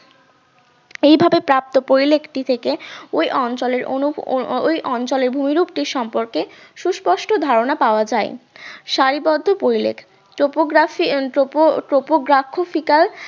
এইভাবে প্রাপ্ত পরিলেখ্টি থেকে ঐ অঞ্চলের ওই অঞ্চলের ভূমিরূপটি সম্পর্কে সুস্পষ্ট ধারণা পাওয়া যায় সারিবদ্ধ পরিলেখ topography উম topotopograkhuphical